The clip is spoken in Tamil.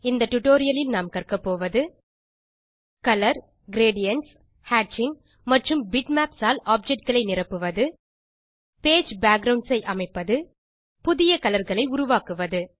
இந்த டியூட்டோரியல் லில் நாம் கற்பது கலர் கிரேடியன்ட்ஸ் ஹேட்சிங் மற்றும் பிட்மேப்ஸ் ஆல் ஆப்ஜெக்ட் களை நிரப்புவது பேஜ் பேக்குரவுண்ட்ஸ் அமைப்பது புதிய கலர் களை உருவாக்குவது